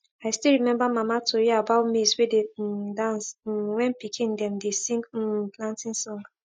i still remember mama tori about maize wey dey um dance um when pikin dem dey sing um planting song